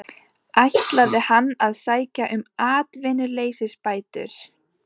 Ætlaði hann að sækja um atvinnuleysisbætur?